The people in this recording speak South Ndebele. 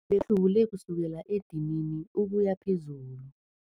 Bekahlubule kusukela edinini ukuya phezulu.